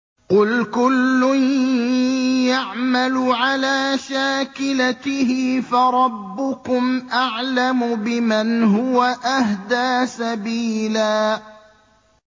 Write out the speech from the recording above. قُلْ كُلٌّ يَعْمَلُ عَلَىٰ شَاكِلَتِهِ فَرَبُّكُمْ أَعْلَمُ بِمَنْ هُوَ أَهْدَىٰ سَبِيلًا